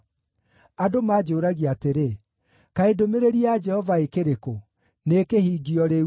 Andũ manjũũragia atĩrĩ, “Kaĩ ndũmĩrĩri ya Jehova ĩkĩrĩ kũ? Nĩĩkĩhingio rĩu!”